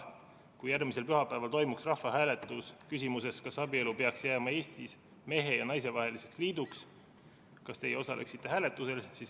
Küsiti, et kui järgmisel pühapäeval toimuks rahvahääletus küsimuses, kas abielu peaks jääma Eestis mehe ja naise vaheliseks liiduks, siis kas teie osaleksite hääletusel.